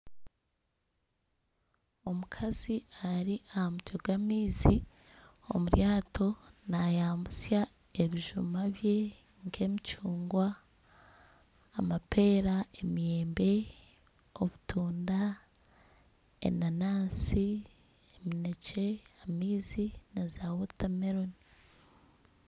Omukazi ari aha mutwe gw'maizi omu ryato nayambutsya ebijuma bye nk'emicungwa , amapeera, emiyembe , obutunda, enanansi, eminekye, amaizi naza wotameroni.